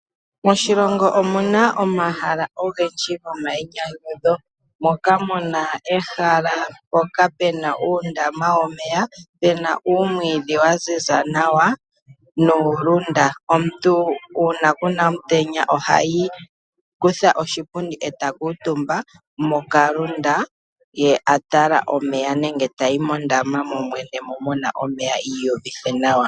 Moshilongo omuna omahala gomainyanyudho ngaashi omahala gomambwindilo. Omahala gomambwindilo ohaga kala gena okangwena kega kundukidha nuupundi wuna uulunda. Omuntu ngele a vulwa okumbwinda nenge Kuna omutenya , ohayi akagondje muulunda moka.